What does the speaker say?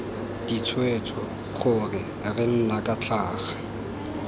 ditshwetso gore re nna tlhaga